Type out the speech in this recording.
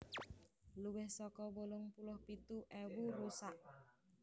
Luwih saka wolung puluh pitu ewu rusak